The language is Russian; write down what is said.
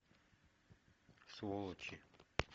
сволочи